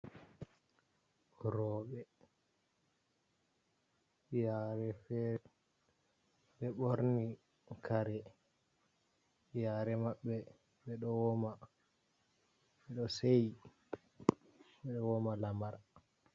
Roɓe yare fere ɓe borni kare yare mabɓe, ɓeɗo woma, ɓeɗo seyi, ɓeɗo woma lamar.